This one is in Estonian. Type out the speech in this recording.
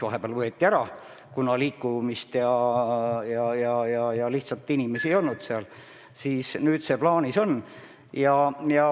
Vahepeal võeti osa ronge käigust ära, kuna lihtsalt inimesi ei olnud.